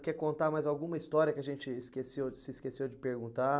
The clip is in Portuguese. Quer contar mais alguma história que a gente esqueceu se esqueceu de perguntar?